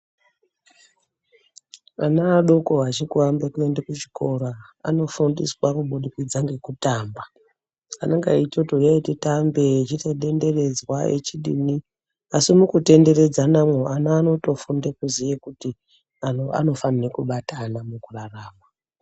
Ana adoko achiku ambe kuende ku chikora anofundiswa kubudikidza ngeku tamba anenga eitoti huyai titambe echi ita denderedzwa echidini asi muku tenderedzana mwo ana anoto funde kuziye kuti anhu anofanire kubatana muku rarama.